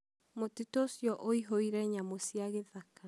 mũtitũ ũcio ũihũIre nyamũ cia gĩthaka